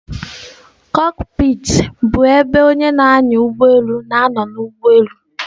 Kokpiti bụ ebe onye na-anya ụgbọelu na-anọ n'ụgbọelu.